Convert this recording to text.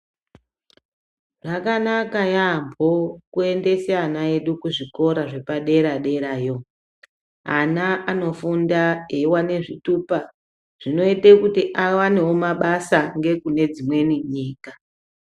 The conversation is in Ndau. Zvakanaka yaambo kuendese ana edu kuzvikora zvepadera-derayo. Ana anofunda eiwane zvitupa, zvinoite kuti awanewo mabasa ngekune dzimweni nyika.